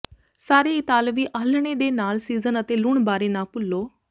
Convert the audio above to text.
ਸਾਰੇ ਇਤਾਲਵੀ ਆਲ੍ਹਣੇ ਦੇ ਨਾਲ ਸੀਜ਼ਨ ਅਤੇ ਲੂਣ ਬਾਰੇ ਨਾ ਭੁੱਲੋ